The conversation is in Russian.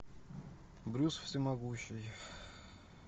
брюс всемогущий